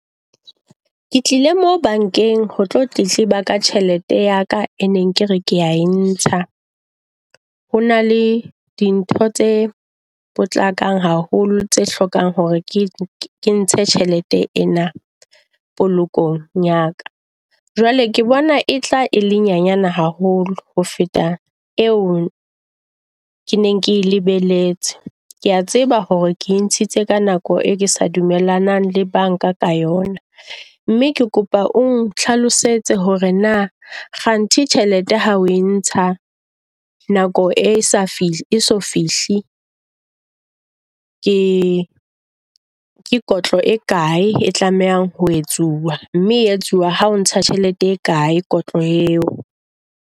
Ke tlile mo bankeng ho tlo tletleba ka tjhelete ya ka e neng kere kea e ntsha. Ho na le di ntho tse potlakang haholo tse hlokang hore ke ntshe tjhelete ena polokehong ya ka. Jwale ke bona e tla e le nyanyane haholo ho feta eo ke neng ke lebelletse, kea tseba hore ke ntshitse ka nako e ke sa dumellana le banka ka yona. Mme ke kopa o nhlalosetse hore na kganthe tjhelete ha o e ntsha nako e sa fehli e so fehli ke kotlo e kae e tlamehang ho etsuwa. Mme e etsuwa ha o ntsha tjhelete e kae, kotlo eo.